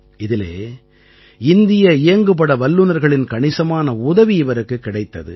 இதிலே இந்திய இயங்குபட வல்லுநர்களின் கணிசமான உதவி இவருக்குக் கிடைத்தது